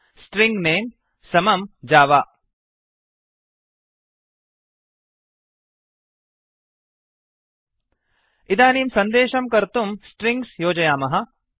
string name string name समं जव Java इदानीं सन्देशं कर्तुं स्ट्रिङ्ग्स् योजयामः